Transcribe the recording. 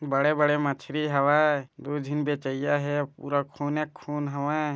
बड़े-बड़े मछरी हवय दू झीन बेचइया हे अउ पूरा खूने खून हवय।